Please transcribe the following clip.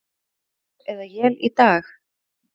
Skúrir eða él í dag